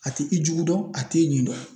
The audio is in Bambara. A ti i jugu dɔn a t'i ɲin dɔn